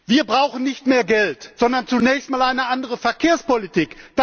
Wir brauchen nicht mehr Geld, sondern zunächst einmal eine andere Verkehrspolitik.